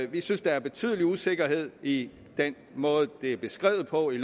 vi synes der er betydelig usikkerhed i den måde det er beskrevet på i